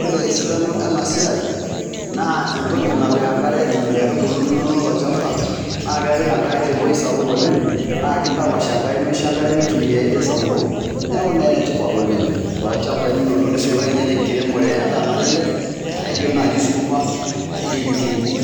Ore esidano ena siai naa entoki napik enkare nkaitubulu inonok tolchamba, naa kepik te ewui sapuk oleng' naa kidapash enkare nemisho enkare mitumiayu te sapuko. Neeku naa ene tipat oleng' tolchambai linonok nisulaki ninye te nkiremore endaa nalelek naijo naa sukuma, naijo kitunguu,